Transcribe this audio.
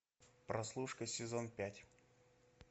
прослушка сезон пять